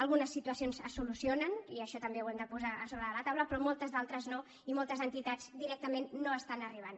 algunes situacions es solucionen i això també ho hem de posar a sobre de la taula però moltes altres no i moltes entitats directament no hi estan arribant